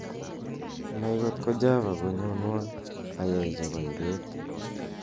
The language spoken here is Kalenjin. nai kot ko java koyonwon ayai chebo ibeet